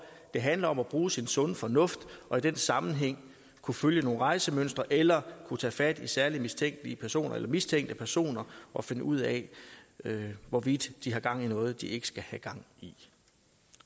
det handler om at bruge sin sunde fornuft og i den sammenhæng kunne følge nogle rejsemønstre eller kunne tage fat i særlig mistænkelige personer eller mistænkte personer og finde ud af hvorvidt de har gang i noget de ikke skal have gang i